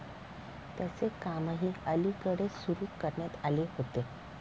त्याचे कामही अलीकडेच सुरू करण्यात आले आहे.